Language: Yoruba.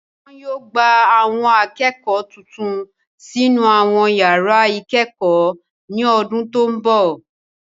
Wọn yóò gba Àwọn akẹ́kọ̀ọ́ tuntun sínú àwọn yàrá ìkẹ́kọ̀ọ́ ní ọdún tó ń bọ̀